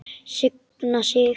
Signa sig?